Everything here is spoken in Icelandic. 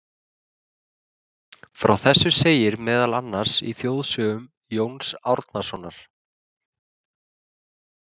Frá þessu segir meðal annars í þjóðsögum Jóns Árnasonar.